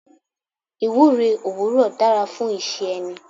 Ìwúre òwúrò dára fún iṣẹ́ ẹni.